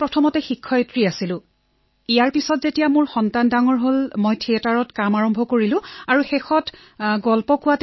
মই প্ৰথমে শিক্ষকতা কৰিছিলো আৰু তাৰ পিছত যেতিয়া মোৰ সন্তানৰ জন্ম হল তেতিয়া মই থিয়েটাৰত কাম আৰম্ভ কৰিলো আৰু শেষত সাধু শুনোৱাত মন দিলো